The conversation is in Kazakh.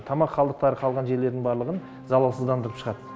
тамақ қалдықтары қалған жерлерін барлығын залалсыздандырып шығады